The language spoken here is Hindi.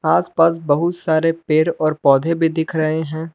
आस पास बहुत सारे पेड़ और पौधे भी दिख रहे हैं।